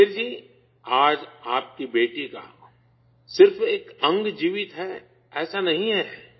سکھبیر جی، آج آپ کی بیٹی کا صرف ایک عضو زندہ ہے، ایسا نہیں ہے